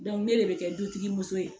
ne de bɛ kɛ dutigi muso ye